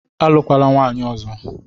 Alụkwala nwaanyị ọzọ